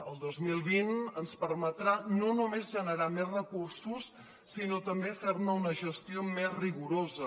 el dos mil vint ens permetrà no només generar més recursos sinó també fer ne una gestió més rigorosa